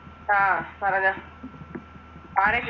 ആഹ് പറഞ്ഞൊ